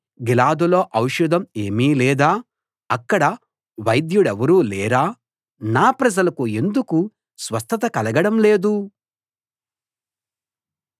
గిలాదులో ఔషధం ఏమీ లేదా అక్కడ వైద్యుడెవరూ లేరా నా ప్రజలకు ఎందుకు స్వస్థత కలగడం లేదు